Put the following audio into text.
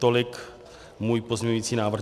Tolik můj pozměňovací návrh.